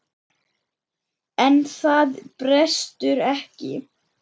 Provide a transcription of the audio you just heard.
En það brestur ekki.